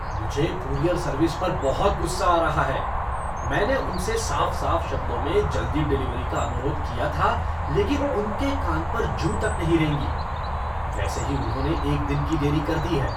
मुझे courier service पर बहुत गुस्सा आ रहा है। मैंने उनसे साफ साफ शब्दों में जल्दी डिलीवरी का अनुरोध किया था लेकिन उनके कान पर जूँ तक नहीं रेंगी। वैसे ही उन्होंने एक दिन की देरी कर दी है।